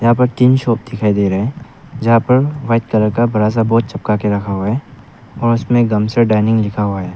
यहां पे तीन शॉप दिखाई दे रहे हैं जहां पर व्हाइट कलर का बड़ा सा बोर्ड चिपका के रखा हुआ है और उसमें गमसर डाइनिंग लिखा हुआ है।